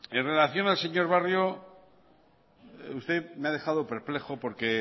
en relación al señor barrio usted me ha dejado perplejo porque